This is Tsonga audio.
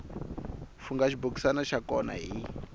fungha xibokisana xa kona hi